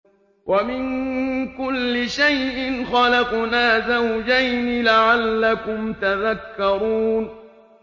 وَمِن كُلِّ شَيْءٍ خَلَقْنَا زَوْجَيْنِ لَعَلَّكُمْ تَذَكَّرُونَ